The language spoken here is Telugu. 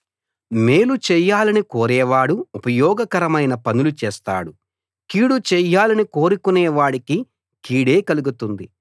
మేలు చేయాలని కోరేవాడు ఉపయోగకరమైన పనులు చేస్తాడు కీడు చేయాలని కోరుకునే వాడికి కీడే కలుగుతుంది